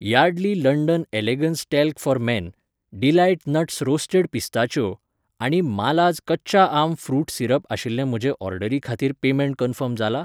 Yardley London elegance talc for men, Delight nuts roasted पिस्ताच्यो आनी मालाज कच्चा आम फ्रूट सिरप आशिल्ले म्हजे ऑर्डरी खातीर पेमेंट कन्फर्म जालां ?